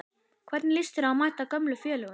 Hvernig lýst þér á að mæta gömlu félögunum?